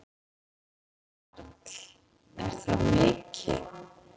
Karl: Er það mikið?